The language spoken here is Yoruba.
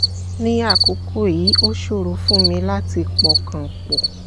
ní àkókò yìí ó ṣòro fún mi láti pọkàn pọ̀